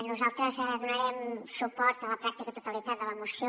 nosaltres donarem suport a la pràctica totalitat de la moció